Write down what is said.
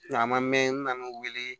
A ma mɛn nan'u wele